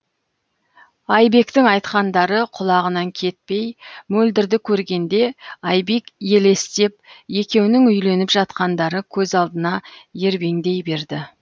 айбектің айтқандары құлағынан кетпей мөлдірді көргенде айбек елестеп екеуінің үйленіп жатқандары көз алдына ербеңдей берді